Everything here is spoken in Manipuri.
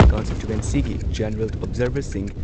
ꯀꯟꯁꯇꯤꯇꯨꯑꯦꯟꯁꯤꯒꯤ ꯖꯦꯅꯔꯦꯜ ꯑꯣꯕꯖꯔꯚꯔꯁꯤꯡ